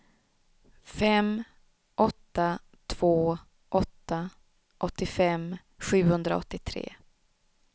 fem åtta två åtta åttiofem sjuhundraåttiotre